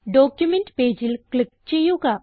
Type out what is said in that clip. document പേജിൽ click ചെയ്യുക